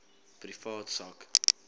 privaat sak